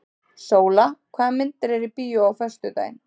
Sóla, hvaða myndir eru í bíó á föstudaginn?